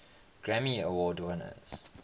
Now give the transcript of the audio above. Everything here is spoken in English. grammy award winners